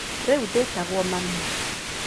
Rĩu ndĩtagwo mami.